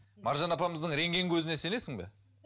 маржан апамыздың рентген көзіне сенесің бе